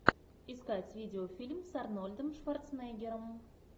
искать видеофильм с арнольдом шварценеггером